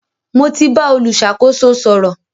Mo ti bá olùṣàkóso sọ̀rọ̀.